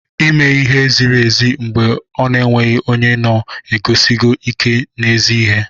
Ime ihe ziri ezi mgbe ọ na-enweghị onye na-eguzosi ike n'ezi ihe